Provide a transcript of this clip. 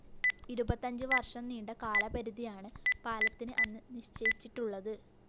ഇരുപത്തഞ്ചു വര്‍ഷം നീണ്ട കാലപരിധിയാണ് പാലത്തിന് അന്ന് നിശ്ചയിച്ചിട്ടുള്ളത്